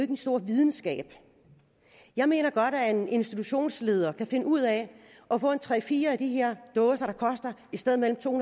en stor videnskab jeg mener godt at en institutionsleder kan finde ud af at få tre eller fire af de her dåser der koster et sted mellem to